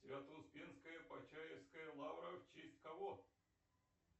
свято успенская почаевская лавра в честь кого